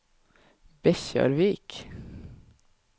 Bekkjarvik